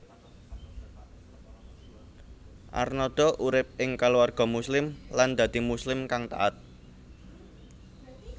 Arnada urip ing keluarga Muslim lan dadi Muslim kang taat